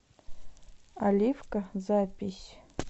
оливка запись